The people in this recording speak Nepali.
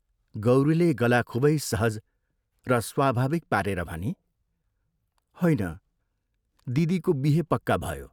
गौरीले गला खूबै सहज र स्वाभाविक पारेर भनी, "होइन, दिदीको बिहे पक्का भयो।